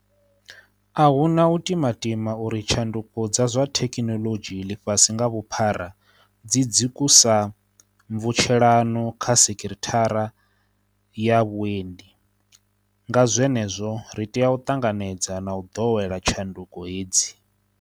A hu na u timatima uri tsha nduko dza zwa thekhinoḽodzhi ḽifhasi nga vhuphara dzi dzi kusa mvutshelano kha se kithara ya vhuendi, nga zwe nezwo ri tea u ṱanganedza na u ḓowela tshanduko hedzi.